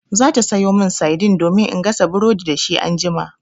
Za ta sayo min saidin domin in gasa burodi dashi anjima.